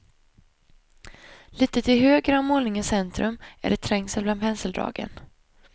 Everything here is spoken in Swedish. Lite till höger om målningens centrum är det trängsel bland penseldragen.